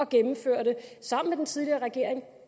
gennemførte sammen med den tidligere regering